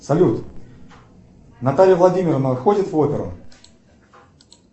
салют наталья владимировна ходит в оперу